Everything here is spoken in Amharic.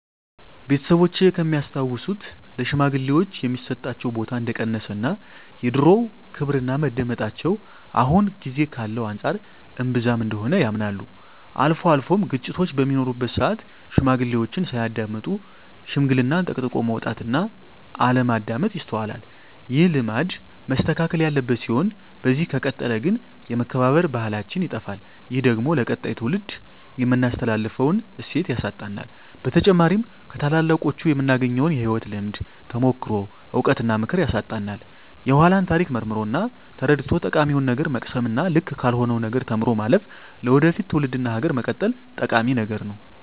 ቤተሰቦቼ ከሚያስታውሱት ለሽማግሌወች የሚሰጣቸው ቦታ እንደቀነሰ እና የድሮው ክብርና መደመጣቸው አሁን ጊዜ ካለው አንፃር እንብዛም እንደሆነ ያምናሉ። አልፎ አልፎም ግጭቶች በሚኖሩበት ስአት ሽማግሌዎችን ሳያዳምጡ ሽምግልናን ጠቅጥቆ መውጣት እና አለማዳመጥ ይስተዋላል። ይህ ልማድ መስተካከል ያለበት ሲሆን በዚህ ከቀጠለ ግን የመከባበር ባህላችን ይጠፋል። ይህ ደግሞ ለቀጣይ ትውልድ የምናስተላልፈውን እሴት ያሳጣናል። በተጨማሪም ከታላላቆቹ የምናገኘውን የህይወት ልምድ፣ ተሞክሮ፣ እውቀት እና ምክር ያሳጣናል። የኃላን ታሪክ መርምሮ እና ተረድቶ ጠቃሚውን ነገር መቅሰም እና ልክ ካልሆነው ነገር ተምሮ ማለፍ ለወደፊት ትውልድ እና ሀገር መቀጠል ጠቂሚ ነገር ነው።